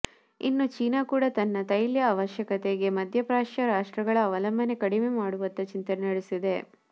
ಇನ್ನು ಚೀನಾ ಕೂಡ ತನ್ನ ತೈಲ ಅವಶ್ಯಕತೆಗೆ ಮದ್ಯಪ್ರಾಚ್ಯ ರಾಷ್ಟ್ರಗಳ ಅವಲಂಬನೆ ಕಡಿಮೆ ಮಾಡುವತ್ತ ಚಿಂತನೆ ನಡೆಸಿದೆ